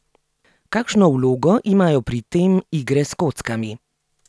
Kakšno vlogo imajo pri tem igre s kockami?